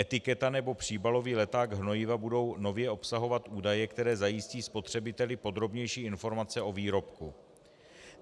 Etiketa nebo příbalový leták hnojiva budou nově obsahovat údaje, které zajistí spotřebiteli podrobnější informace o výrobku.